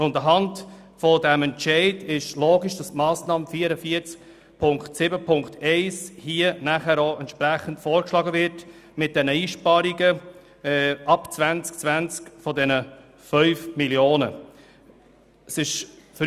Aufgrund dieses Entscheids ist es logisch, dass die Massnahme 44.7.1 vorgeschlagen wird mit den Einsparungen von 5 Mio. Franken ab dem Jahr 2020.